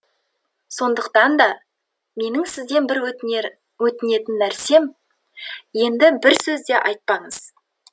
сондықтан да менің сізден бір өтінетін нәрсем енді бір сөз де айтпаңыз